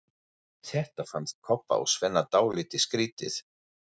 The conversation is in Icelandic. Þetta fannst Kobba og Svenna dálítið skrýtið.